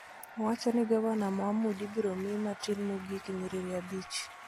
Owacho ni Gavana Mohamud ibiro mi matin mogik nyiriri abich